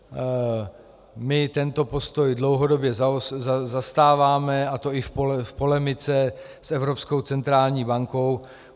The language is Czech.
My tento postoj dlouhodobě zastáváme, a to i v polemice s Evropskou centrální bankou.